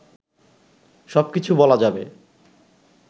সব কিছু বলা যাবে